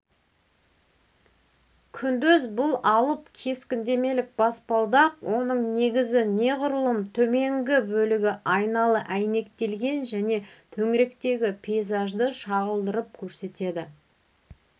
күндіз бұл алып кескіндемелік баспалдақ оның негізі неғұрлым төменгі бөлігі айналы әйнектелген және төңіректегі пейзажды шағылдырып көрсетеді